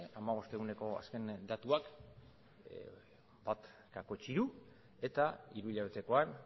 hamabost eguneko azken datuetan bat koma hiru eta hiruhilabetekoan